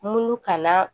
Munnu kan na